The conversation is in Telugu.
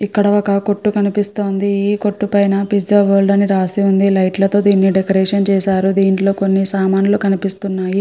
ఇక్కడ ఒక కొట్టు కనిపిస్తుంది ఆ కొట్టు పైన పిజ్జా వరల్డ్ అని రాసి ఉంది లైట్ లతో దీన్ని డెకరేషన్ చేశారు దీంట్లో కొన్ని సామాన్లు కనిపిస్తున్నాయి.